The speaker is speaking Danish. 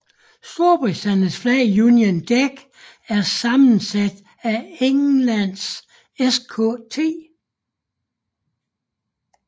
Storbritanniens flag Union Jack er sammensat af Englands Skt